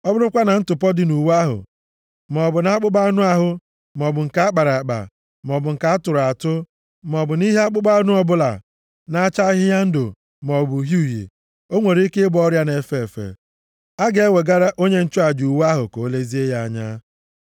Ọ bụrụkwa na ntụpọ dị nʼuwe ahụ, maọbụ nʼakpụkpọ anụ ahụ, maọbụ nke a kpara akpa, maọbụ nke atụrụ atụ, maọbụ nʼihe akpụkpọ anụ ọbụla na-acha ahịhịa ndụ maọbụ uhie uhie, o nwere ike ịbụ ọrịa na-efe efe. A ga-ewegara onye nchụaja uwe ahụ ka o lezie ya anya.